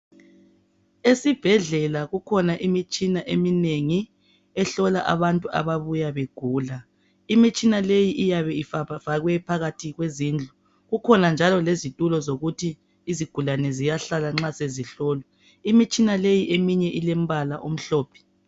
Esibhedlela kukhona imitshina eminengi ehlola abantu abayabe begula. Imitshina leyi iyabe ifakwe phakathi kwezindlu kukhona njalo lezitulo zokuthi izigulane ziyahlala nxa sezihlolwa imitshina leyi eminye ilompala omhlphe.